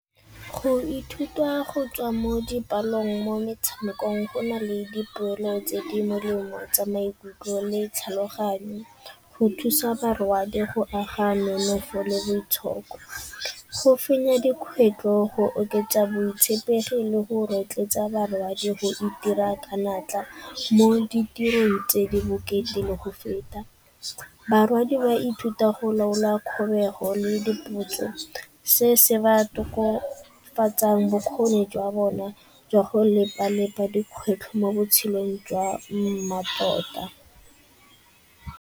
Go ithuta go tswa mo dipalong mo metshamekong go na le dipoelo tse di molemo tsa maikutlo le tlhaloganyo. Go thusa barwadi go aga nonofo le boitshoko go fenya dikgwetlo go oketsa botshepegi le go rotloetsa barwadi go itira ka natla mo ditirong tse di bokete le go feta. Barwadi ba ithuta go laola kgobego le dipotso, se se ba tokofatsang bokgoni jwa bona jwa go dikgwetlho mo botshelong jwa mmatota.